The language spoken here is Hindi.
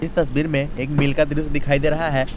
तस्वीर में एक मील का दृश्य दिखाई दे रहा है।